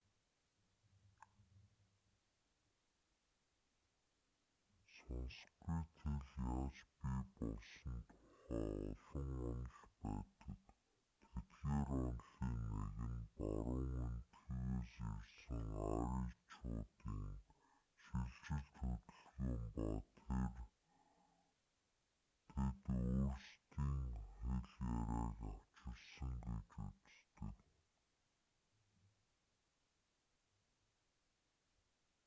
санскрит хэл яаж бий болсон тухай олон онол байдаг тэдгээр онолын нэг нь баруун энэтхэгээс ирсэн аричуудын шилжилт хөдөлгөөн ба тэд өөрсдийн хэл яриаг авчирсан гэж үздэг